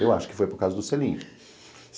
Eu acho que foi por causa do selinho.